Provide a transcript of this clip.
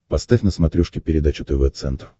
поставь на смотрешке передачу тв центр